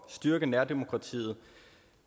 styrke nærdemokratiet